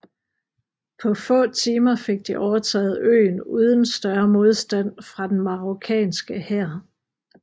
På få timer fik de overtaget øen uden større modstand fra den marokkanske hær